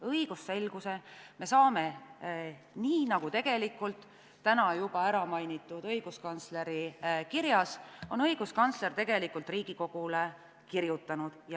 Õigusselguse me saame nii, nagu täna juba mainitud õiguskantsleri kirjas on õiguskantsler Riigikogule kirjutanud.